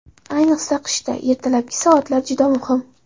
Ayniqsa qishda ertalabki soatlar juda muhim.